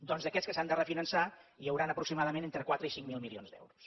doncs d’aquests que s’han de refinançar hi hauran aproximadament entre quatre i cinc mil milions d’euros